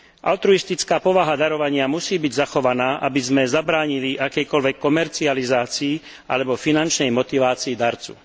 Altruistická povaha darovania musí byť zachovaná, aby sme zabránili akejkoľvek komercializácii alebo finančnej motivácii darcu.